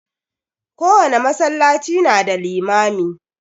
Kowane masallaci na da limami.